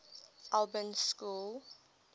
albans school